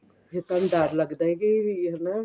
ਫੇਰ ਤੁਹਾਨੂੰ ਡਰ ਲੱਗਦਾ ਕੀ ਹਨਾ